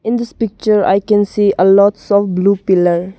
In this picture I can see a lots of blue pillar.